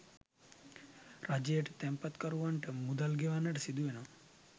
රජයට තැන්පත්කරැවන්ට මුදල් ගෙවන්නට සිදු වනවා.